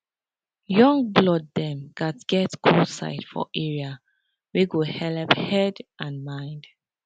young blood dem gatz get cool side for area wey go helep head and mind